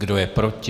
Kdo je proti?